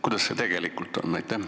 Kuidas sellega tegelikult on?